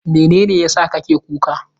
Mene ne ya sa kake kuka?